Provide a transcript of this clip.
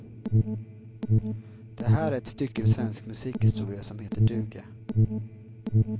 Det här är ett stycke svensk musikhistoria som heter duga.